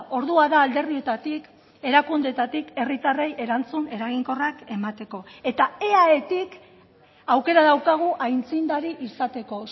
ordua da alderdietatik erakundeetatik herritarrei erantzun eraginkorrak emateko eta eaetik aukera daukagu aitzindari izateko